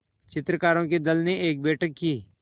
चित्रकारों के दल ने एक बैठक की